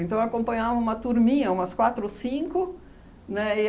Então, acompanhavam uma turminha, umas quatro ou cinco, né?